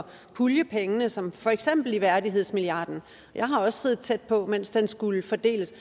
pulje pengene som for eksempel i værdighedsmilliarden jeg har også siddet tæt på mens den skulle fordeles